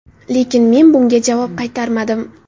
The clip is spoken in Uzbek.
Lekin men bunga javob qaytarmadim.